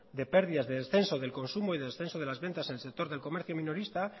de pérdidas de descenso del consumo y descenso de las ventas en el sector minorista